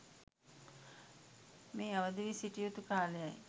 මේ අවදිවී සිටිය යුතු කාලයයි.